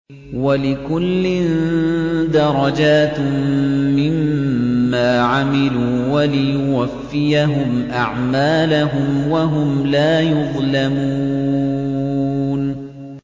وَلِكُلٍّ دَرَجَاتٌ مِّمَّا عَمِلُوا ۖ وَلِيُوَفِّيَهُمْ أَعْمَالَهُمْ وَهُمْ لَا يُظْلَمُونَ